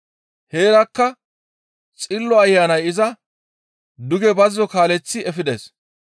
Heerakka Xillo Ayanay iza duge bazzo kaaleththi efides.